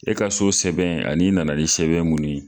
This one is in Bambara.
E ka so sɛbɛn ani i nana ni sɛbɛn mun ye.